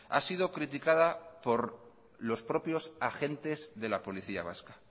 ha sido criticada por los propios agentes de la policía vasca